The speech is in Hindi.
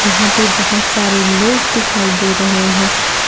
यहां पे बहोत सारे लोग दिखाई दे रहे हैं।